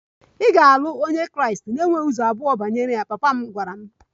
Ị ga-alụ onye Kraịst na e nweghị ụzọ abụọ banyere ya! Papa m gwara m.